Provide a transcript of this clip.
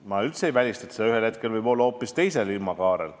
Ma üldse ei välista, et ühel hetkel võib see surve olla hoopis teises ilmakaares.